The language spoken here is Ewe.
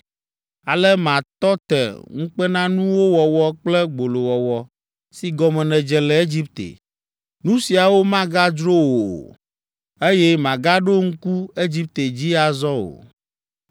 Ale matɔ te ŋukpenanuwo wɔwɔ kple gbolowɔwɔ si gɔme nèdze le Egipte. Nu siawo magadzro wò o, eye màgaɖo ŋku Egipte dzi azɔ o.’